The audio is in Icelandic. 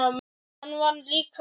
Hann vann líka oftast.